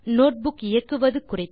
notebook இயக்குவது குறித்த